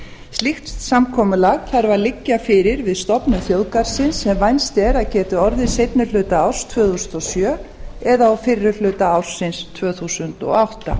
slíkt samkomulag þarf að liggja fyrir við stofnun þjóðgarðsins sem vænst er að geti orðið seinni hluta árs tvö þúsund og sjö eða á fyrri hluta ársins tvö þúsund og átta